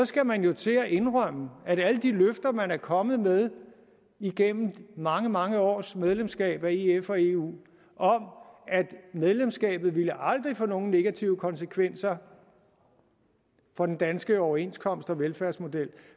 skal man jo til at indrømme at alle de løfter man er kommet med igennem mange mange års medlemskab af ef og eu om at medlemskabet aldrig ville få nogen negative konsekvenser for den danske overenskomst og velfærdsmodel